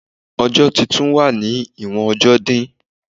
Odun titun wa ni iwon ọjọ di